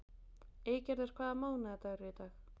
Eygerður, hvaða mánaðardagur er í dag?